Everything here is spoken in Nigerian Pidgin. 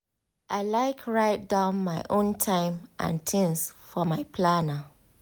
i like write down my own time and tings for my planner.